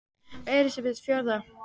Elísabet: Fjórða?